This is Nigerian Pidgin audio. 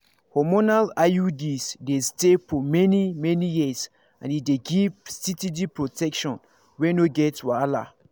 hormonal iuds dey stay for many-many years and e dey give steady protection wey no get wahala.